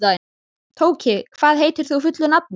Tóki, hvað heitir þú fullu nafni?